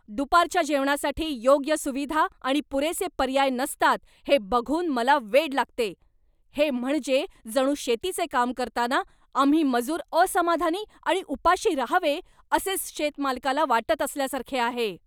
दुपारच्या जेवणासाठी योग्य सुविधा आणि पुरेसे पर्याय नसतात हे बघून मला वेड लागते. हे म्हणजे जणू शेतीचे काम करताना आम्ही मजूर असमाधानी आणि उपाशी राहावे असेच शेत मालकाला वाटत असल्यासारखे आहे.